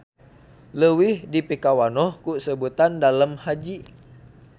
Leuwih dipikawanoh ku sebutan Dalem Haji.